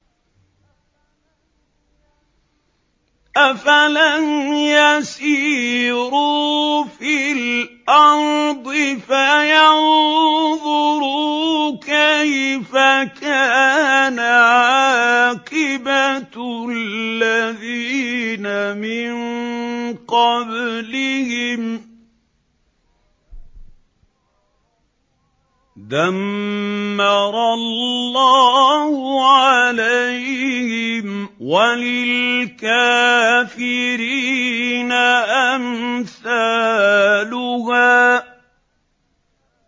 ۞ أَفَلَمْ يَسِيرُوا فِي الْأَرْضِ فَيَنظُرُوا كَيْفَ كَانَ عَاقِبَةُ الَّذِينَ مِن قَبْلِهِمْ ۚ دَمَّرَ اللَّهُ عَلَيْهِمْ ۖ وَلِلْكَافِرِينَ أَمْثَالُهَا